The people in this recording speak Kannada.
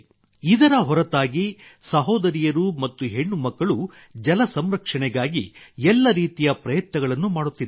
ಇದರ ಹೊರತಾಗಿ ಸಹೋದರಿಯರು ಮತ್ತು ಹೆಣ್ಣುಮಕ್ಕಳು ಜಲ ಸಂರಕ್ಷಣೆಗಾಗಿ ಎಲ್ಲ ರೀತಿಯ ಪ್ರಯತ್ನಗಳನ್ನು ಮಾಡುತ್ತಿದ್ದಾರೆ